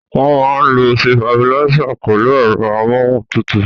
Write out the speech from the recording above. Wọ́n máa ń lo sitabiláísì pẹ̀lú ẹ̀rọ amóhun tutù.